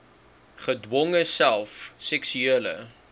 gedwonge self seksuele